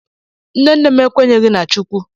Nne nne m ekwenyeghị na Chukwu.